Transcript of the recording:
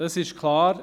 Es ist klar: